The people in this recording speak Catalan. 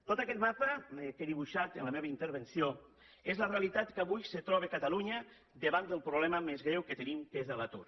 tot aquest mapa que he dibuixat en la meva intervenció és la realitat que avui se troba catalunya davant del problema més greu que tenim que és l’atur